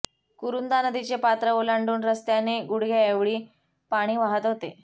कुरुंदा नदीचे पात्र ओलांडून रस्त्याने गुडघ्याऐवळे पाणी वाहत होते